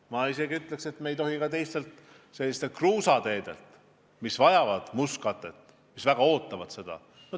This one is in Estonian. Ma isegi ütleks, et me ei tohi rahastust ära võtta ka kruusateedelt, mis vajavad mustkatet, mis väga ootavad seda.